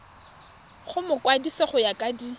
go mokwadise go ya ka